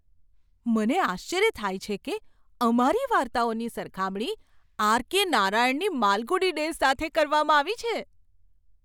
મને આશ્ચર્ય થાય છે કે અમારી વાર્તાઓની સરખામણી આર.કે. નારાયણની માલગુડી ડેઝ સાથે કરવામાં આવી છે!